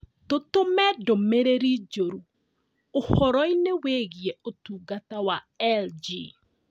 Tũtũme ndũmĩrĩri njũru ũhoro-inĩ wĩgiĩ ũtungata wa L.G.